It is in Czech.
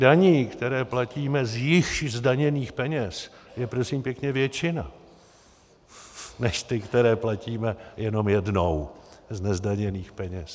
Daní, které platíme z již zdaněných peněz, je, prosím pěkně, většina než ty, které platíme jenom jednou z nezdaněných peněz.